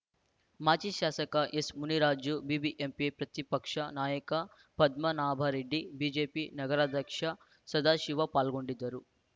ಮಾಜಿ ಶಾಸಕ S Muniraju BBMP ಪ್ರತಿಪಕ್ಷ ನಾಯಕ ಪದ್ಮನಾಭರೆಡ್ಡಿ ಬಿಜೆಪಿ ನಗರಾಧ್ಯಕ್ಷ ಸದಾಶಿವ ಪಾಲ್ಗೊಂಡಿದ್ದರು